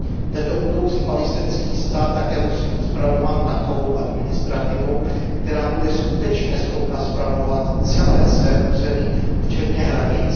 Tento budoucí palestinský stát také musí být spravován takovou administrativou, která bude skutečně schopna spravovat celé své území včetně hranic.